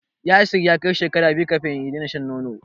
Yasir ya kai shekara biyu kafin ya daina shan nono.